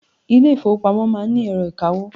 Ilé ìfọwọ́pamo má ń ni ẹ̀rọ ìkawó.